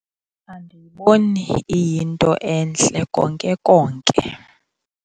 Andiyiboni iyinto entle konke konke.